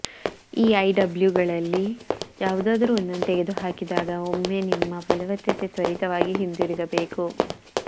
ಈ ಐಡಬ್ಲ್ಯೂಗಳಲ್ಲಿ ಯಾವುದಾದರೂ ಒಂದನ್ನು ತೆಗೆದುಹಾಕಿದಾಗ ಒಮ್ಮೆ ನಿಮ್ಮ ಫಲವತ್ತತೆ ತ್ವರಿತವಾಗಿ ಹಿಂತಿರುಗಬೇಕು